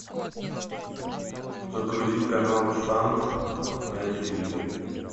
загрузи канал шант на телевизоре